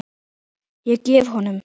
Ég gef honum